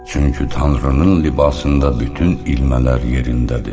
Çünki Tanrının libasında bütün ilmələr yerindədir.